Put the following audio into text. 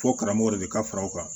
Fɔ karamɔgɔ de ka fara o kan